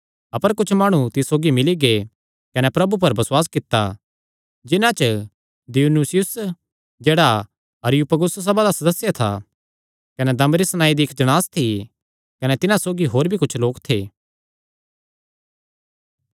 अपर कुच्छ माणु तिस सौगी मिल्ली गै कने प्रभु पर बसुआस कित्ता जिन्हां च दियनुसियुस जेह्ड़ा अरियुपगुस सभा दा सदस्य था कने दमरिस नांऐ दी इक्क जणांस थी कने तिन्हां सौगी होर भी कुच्छ लोक थे